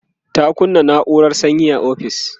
ta kunna naurar sanyi a ofis